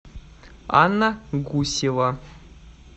анна гусева